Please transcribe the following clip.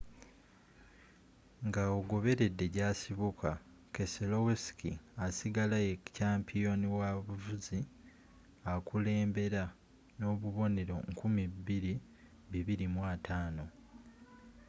nga ogobeledde jasibuka keselowski asigara ye kyampiyoni w'abavuzi akulembera nobubonero 2,250